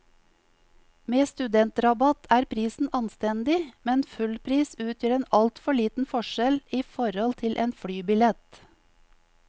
Med studentrabatt er prisen anstendig, men fullpris utgjør en altfor liten forskjell i forhold til en flybillett.